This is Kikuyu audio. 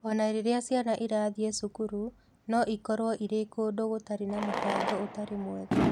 O na rĩrĩa ciana irathiĩ cukuru, no ikorũo irĩ kũndũ gũtarĩ na mũbango ũtarĩ mwega.